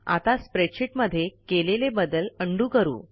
आता स्प्रेडशीट मध्ये केलेले बदल उंडो करा